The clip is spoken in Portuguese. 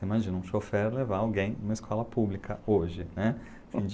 Imagina, um chofer levar alguém numa escola pública hoje, né?